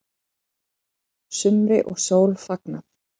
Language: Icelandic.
Sumri og sól fagnað